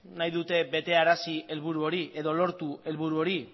nahi dute berearazi helburu hori edo lortu helburu hori